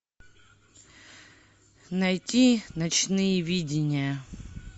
найти ночные видения